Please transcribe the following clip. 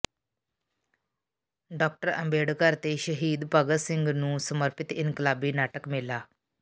doctor Ambedkar ਤੇ ਸ਼ਹੀਦ ਭਗਤ ਸਿੰਘ ਨੂੰ ਸਮਰਪਿਤ ਇਨਕਲਾਬੀ ਨਾਟਕ ਮੇਲਾ